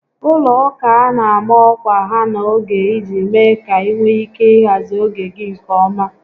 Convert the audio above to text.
Ụlọ ụka a na ama ọkwa ha n'oge iji mee ka ị nwee ike ị hazị oge gị nke ọma